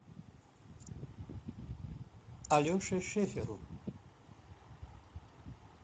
алеше шеферу